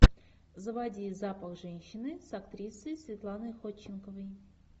заводи запах женщины с актрисой светланой ходченковой